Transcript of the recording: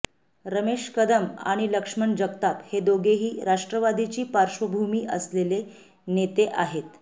रमेश कदम आणि लक्ष्मण जगताप हे दोघेही राष्ट्रवादीची पार्श्वभूमी असलेले नेते आहेत